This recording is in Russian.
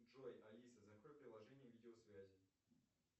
джой алиса закрой приложение видеосвязи